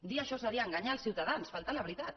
dir això seria enganyar els ciutadans faltar a la veritat